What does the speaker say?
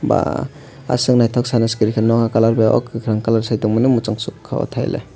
pa asok naithok sana se kuroi kha nokha colour bai o kwkhwrang colour sai tongmani mwchangsukha thaile.